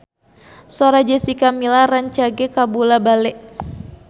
Sora Jessica Milla rancage kabula-bale